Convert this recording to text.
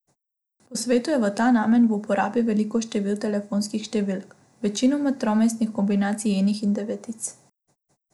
Po svetu je v ta namen v uporabi veliko število telefonskih številk, večinoma tromestnih kombinacij enic in devetic.